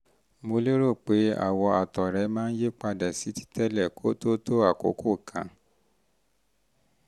mo rò pé àwọ̀ àtọ̀ rẹ máa yípadà sí titẹ́lẹ̀ kó tó tó àkókò kan